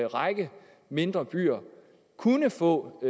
række mindre byer kunne få